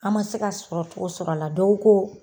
An ma se ka sɔrɔtogo sɔrɔ a la dɔw ko